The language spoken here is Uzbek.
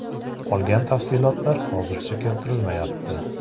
Qolgan tafsilotlar hozircha keltirilmayapti.